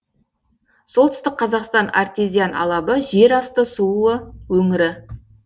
солтүстік қазақстан артезиан алабы жер асты суы өңірі